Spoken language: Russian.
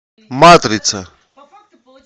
матрица